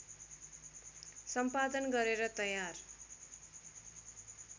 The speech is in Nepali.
सम्पादन गरेर तयार